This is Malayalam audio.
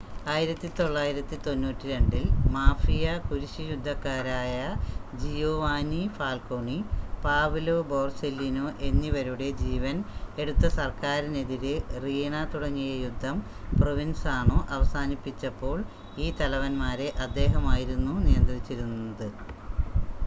1992-ൽ മാഫിയ കുരിശ് യുദ്ധക്കാരായ ജിയോവാനി ഫാൽക്കോണി പാവ്ലോ ബോർസെല്ലിനോ എന്നിവരുടെ ജീവൻ എടുത്ത സർക്കാരിനെതിരെ റീണ തുടങ്ങിയ യുദ്ധം പ്രൊവിൻസാണോ അവസാനിപ്പിച്ചപ്പോൾ ഈ തലവന്മാരെ അദ്ദേഹം ആയിരുന്നു നിയന്ത്രിച്ചിരുന്നത്